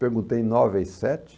Perguntei nove e sete.